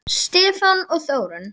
Stefán og Þórunn.